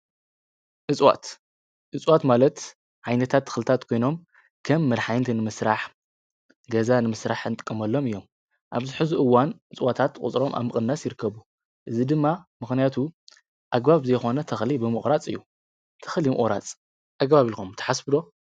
እፅዋት እፅዋት ማለት ዓይነታት ተኽልታት ኮይኖም ከም መድሓኒት ንምስራሕ ገዛ ንምስራሕ ንጥቀመሎም እዮም፡፡ ኣብዚ ሕዚ እዋን እፅዋታት ቁፅሮም ኣብ ምቕናስ ይርከቡ፡፡ እዚ ድማ ምኽንያቱ ኣግባብ ብዘይኮነ ምቑራፅ እዩ፡፡ ተኽሊ ምቑራፅ ኣግባብ እዩ ኢልኩም ትሓስቡ ዶ?